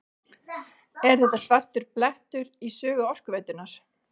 Er þetta svartur blettur í sögu Orkuveitunnar?